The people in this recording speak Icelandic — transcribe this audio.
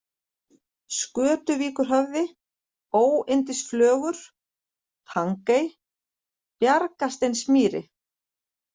Skötuvíkurhöfði, Óyndisflögur, Tangey, Bjargasteinsmýri